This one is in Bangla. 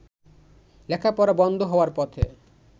লেখাপড়া বন্ধ হওয়ার পথে।